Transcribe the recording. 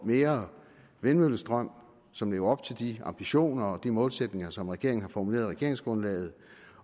mere vindmøllestrøm og som lever op til de ambitioner og de målsætninger som regeringen har formuleret i regeringsgrundlaget